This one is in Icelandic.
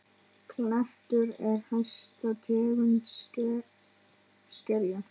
Klettur er hæsta tegund skerja.